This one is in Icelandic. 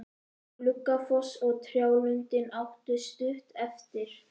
Við Gluggafoss og trjálundinn áttu stutt eftir.